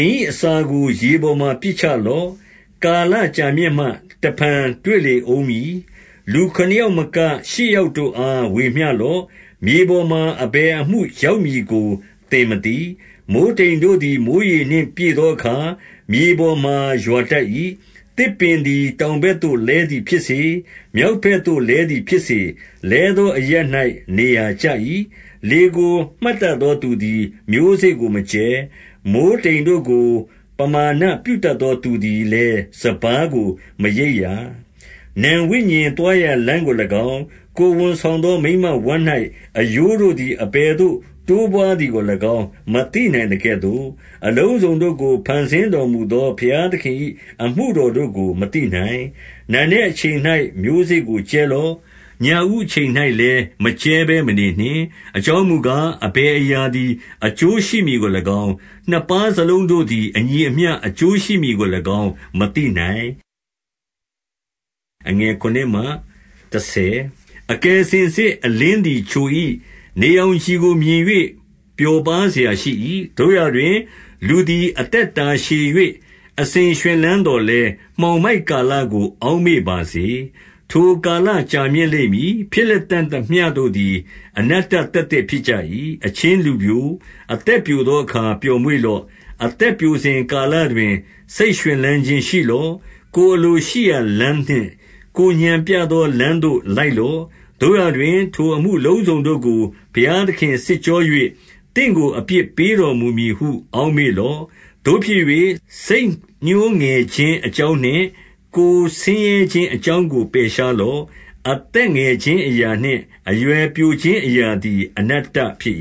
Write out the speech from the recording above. င်၏အစာကို ရေပေါ်မှာပစ်ချလော့။ ကာလ ကြာမြင့်မှ တဖန်တွေ့လေဦးမည်။ 2 လူခုနစ်ယောက်မက၊ ရှစ်ယောက်တို့အား ဝေမျှ လော့။ မြေပေါ်မှာအဘယ်အမှုရောက်မည်ကို သင်မသိ။ 3 မိုဃ်းတိမ်တို့သည် မိုဃ်းရေနှင့်ပြည့်သောအခါ မြေပေါ်မှာရွာတတ်၏။ သစ်ပင်သည် တောင်ဘက်သို့ လဲသည်ဖြစ်စေ၊ မြောက်လက်သို့လဲသည်ဖြစ်စေ၊ လဲသောအရပ်၌ နေရာကျ၏။ 4 လေကိုမှတ်တတ်သောသူသည် မျိုးစေ့ကိုမကြဲ။ မိုဃ်း တိမ်တို့ကို ပမာဏပြုတတ်သော သူသည်လည်း စပါးကိုမရိပ် ရာ။ 5 နံဝိညာဉ်သွားရာလမ်းကို၎င်း၊ ကိုယ်ဝန်ဆောင် သော မိန်းမဝမ်း၌အရိုးတို့သည် အဘယ်သို့တိုးပွားသည်ကို ၎င်း မသိနိုင်သကဲ့သို့၊ အလုံးစုံတို့ကို ဖန်ဆင်းတော်မူသော ဘုရားသခင်၏အမှုတော်တို့ကို မသိနိုင်။ 6 နံနက်အချိန်၌ မျိုးစေ့ကိုကြဲလော့။ ညဦးအချိန်၌ လည်း မကြဲဘဲမနေနှင့်။ အကြောင်းမူကား၊ အဘယ်အရာ သည် အကျိုးရှိမည်ကို၎င်း၊ နှစ်ပါးစလုံးတို့သည် အညီ အမျှအကျိုးရှိမည်ကို၎င်း မသိနိုင်။ 7 အကယ်စင်စစ် အလင်းသည်ချို၏။ နေရောင် ခြည်ကိုမြင်၍ ပျော်ပါးစရာရှိ၏။ 8 သို့ရာတွင်၊ လူသည်အသက်တာရှည်၍ အစဉ် ရွှင်လန်းသော်လည်း၊ မှောင်မိုက်ကာလကို အောက်မေ့ ပါစေ။ ထိုကာလကြာမြင့်လိမ့်မည်။ ဖြစ်လတံ့သမျှတို့သည် အနတ္တသက်သက်ဖြစ်ကြ၏။ 9 အချင်းလူပျို၊ အသက်ပျိုသောအခါ ပျော်မွေ့ လော့။ အသက်ပျိုစဉ်ကာလတွင် စိတ်ရွှင်လန်းခြင်း ရှိလော့။ ကိုယ်အလိုရှိရာလမ်းနှင့်၊ ကိုယ်ဥာဏ်ပြသော လမ်းသို့လိုက်လော့။ သို့ရာတွင်၊ ထိုအမှုအလုံးစုံတို့ကို ဘုရားသခင်စစ်ကြော၍၊ သင့်ကို အပြစ်ပေးတော်မူမည် ဟု အောက်မေ့လော့။ 10 သို့ဖြစ်၍၊ စိတ်ညှိုးငယ်ခြင်းအကြောင်းနှင့်၊ ကိုယ် ဆင်းရဲခြင်းအကြောင်းကို ပယ်ရှားလော့။ အသက်ငယ် ခြင်းအရာနှင့် အရွယ်ပျိုခြင်းအရာသည် အနတ္တဖြစ်